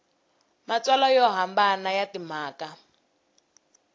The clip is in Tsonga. matsalwa yo hambana ya timhaka